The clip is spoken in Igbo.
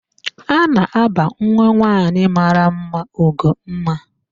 A na-aba nwanwaanyị mara mma Ugomma.